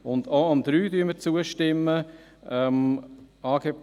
Auch dem Punkt 3 stimmen wir zu.